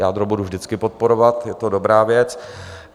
Jádro budu vždycky podporovat, je to dobrá věc.